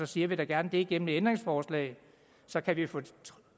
siger vi da gerne det gennem et ændringsforslag så kan vi få